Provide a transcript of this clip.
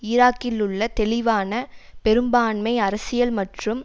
ஈராக்கிலுள்ள தெளிவான பெரும்பான்மை அரசியல் மற்றும்